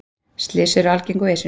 Slys eru algeng á Esjunni.